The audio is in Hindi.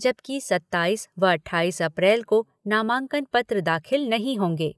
जबकि सत्ताईस व अट्ठाईस अप्रैल को नामांकन पत्र दाखिल नहीं होंगे।